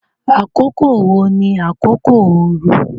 Àkókò wo ni àkókò ooru?